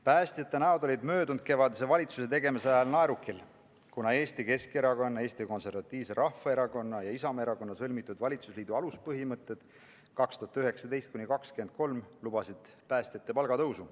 Päästjate näod olid möödunud kevadel valitsuse tegemise ajal naerukil, kuna Eesti Keskerakonna, Eesti Konservatiivse Rahvaerakonna ja Isamaa Erakonna sõlmitud valitsusliidu aluspõhimõtted aastateks 2019–2023 lubasid päästjate palga tõusu.